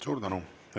Suur tänu!